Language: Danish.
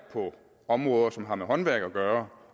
på områder som har med håndværk at gøre